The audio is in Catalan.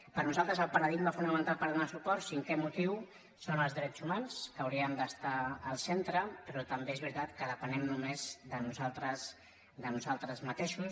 per nosaltres el paradigma fonamental per donar hi suport cinquè motiu són els drets humans que haurien d’estar al centre però també és veritat que depenem només de nosaltres mateixos